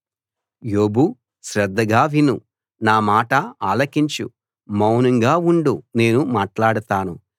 యోబు శ్రద్ధగా విను నా మాట ఆలకించు మౌనంగా ఉండు నేను మాట్లాడతాను